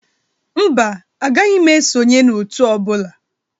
Mba, agaghị m esonye n'Òtù ọ bụla.